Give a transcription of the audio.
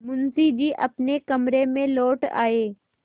मुंशी जी अपने कमरे में लौट आये